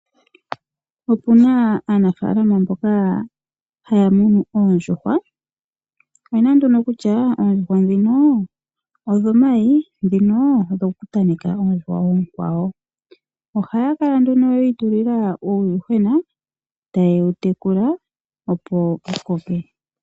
Opuna aanafaalama mboka haya munu oondjuhwa, oyena nduno kutya oondjuhwa dhino odhomayi dhino odhoku tameka oondjuhwa oonkwawo. Ohaya kala nduno yi itulila uuyuhwena taye wu tekula opo wu koke.